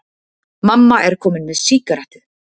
Mamma er komin með sígarettu!